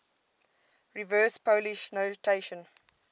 reverse polish notation